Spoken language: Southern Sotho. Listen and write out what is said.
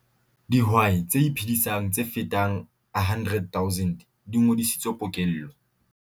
Dihwai tse iphedisang tse fetang 100 000 di ngodisitswe pokello